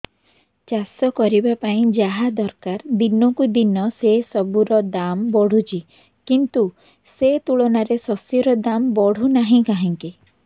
ଚାଷ କରିବା ପାଇଁ ଯାହା ଦରକାର ଦିନକୁ ଦିନ ସେସବୁ ର ଦାମ୍ ବଢୁଛି କିନ୍ତୁ ସେ ତୁଳନାରେ ଶସ୍ୟର ଦାମ୍ ବଢୁନାହିଁ କାହିଁକି